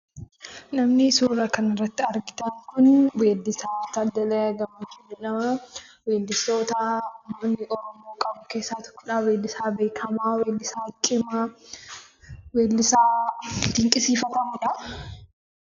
Namni suura kanarratti argitan kuni weeddisaa Taaddalee Gammachuu jedhama. Weeddistoota Oromoo qabu keessaa tokkodha. Weeddisaa beekamaa, weellisaa keenya, weellisaa dinqisiifamuudha.